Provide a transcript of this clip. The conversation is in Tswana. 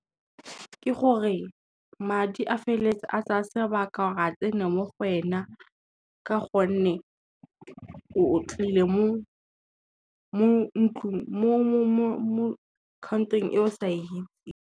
Ke gore madi a feleletsa a tsaya sebaka gore a tsene mo go wena ka gonne, o tlile mo country-ing e o sa .